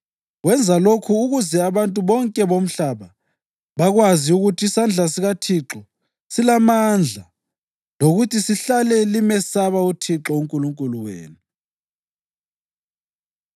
Wenza lokhu ukuze abantu bonke bomhlaba bakwazi ukuthi isandla sikaThixo silamandla lokuthi lihlale limesaba uThixo uNkulunkulu wenu.”